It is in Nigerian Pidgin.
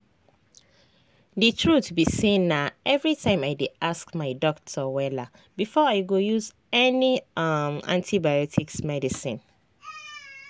the truth be sayna everytime i dey ask my doctor wella before i go use any um antibiotics medicine.